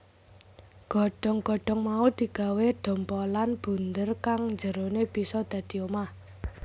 Godhong godhong mau digawé dhompolan bunder kang njerone bisa dadi omah